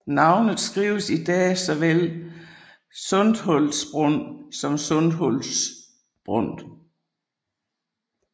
Navnet skrives i dag såvel Sundhultsbrunn som Sunhultsbrunn